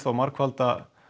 margfalda